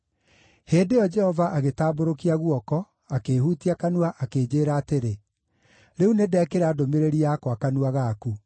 Hĩndĩ ĩyo Jehova agĩtambũrũkia guoko, akĩĩhutia kanua, akĩnjĩĩra atĩrĩ, “Rĩu nĩndekĩra ndũmĩrĩri yakwa kanua gaku.